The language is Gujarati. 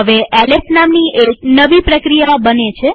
હવે એલએસ નામની એક નવી પ્રક્રિયા બને છે